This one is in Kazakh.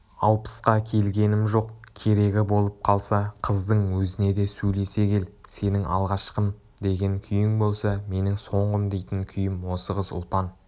алпысқа келгенім жоқ керегі болып қалса қыздың өзіне де сөйлесе кел сенің алғашқым деген күйің болса менің соңғым дейтін күйім осы қыз ұлпан